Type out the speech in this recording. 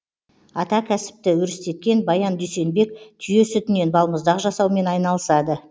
ата кәсіпті өрістеткен баян дүйсенбек түйе сүтінен балмұздақ жасаумен айналысады